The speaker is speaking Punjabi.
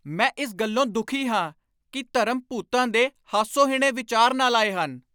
ਮੈਂ ਇਸ ਗੱਲੋਂ ਦੁਖੀ ਹਾਂ ਕਿ ਧਰਮ ਭੂਤਾਂ ਦੇ ਹਾਸੋਹੀਣੇ ਵਿਚਾਰ ਨਾਲ ਆਏ ਹਨ।